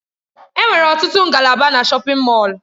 Enwere ọtụtụ ngalaba na shọpin Mọll.